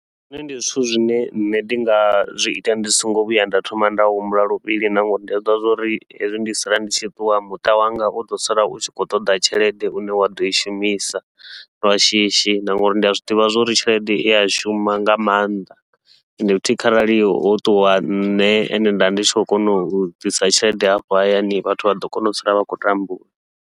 Zwone ndi zwithu zwine nṋe ndi nga zwiita ndi songo vhuya nda thoma nda humbula luvhili na, ngauri ndi zwiḓivha zwa uri hezwi ndi tshi sala ndi tshi ṱuwa muṱa wanga uḓo sala u tshi khou ṱoḓa tshelede une wa ḓoi shumisa lwa shishi, na ngauri ndi a zwiḓivha zwa uri tshelede ia shuma nga maanḓa. Ende futhi kharali ho ṱuwa nṋe e nda ndi tshi khou kona u ḓisa tshelede afho hayani vhathu vha ḓo kona u sala vha khou tambula.